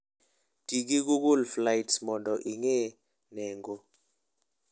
Ti gi Google Flights mondo ing'e nengo.